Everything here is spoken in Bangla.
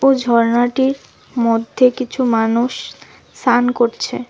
ঝরনাটির মধ্যে কিছু মানুষ সান করছে।